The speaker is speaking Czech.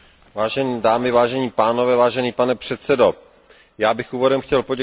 Já bych úvodem chtěl poděkovat oběma zpravodajům, paní Grossetêtové i panu Bowisovi.